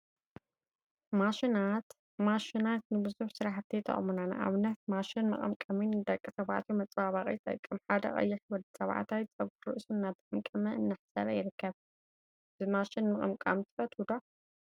ማሽናት ማሽና ንቡዙሕ ስራሕቲ ይጠቅሙና፡፡ ንአብነት ማሽን መቀምቀሚ ንደቂ ተባዕትዮ መፀባበቂ ይጠቅም፡፡ ሓደ ቀይሕ ወዲ ተባዕታይ ፀጉሪ ርእሱ እናተቀምቀመ/እናአሕፀረ ይርከብ፡፡ ብማሽን ምቅምቃም ትፈትው ዶ?